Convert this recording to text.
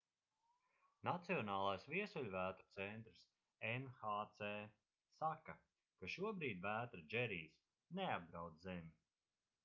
nacionālais viesuļvētru centrs nhc saka ka šobrīd vētra džerijs neapdraud zemi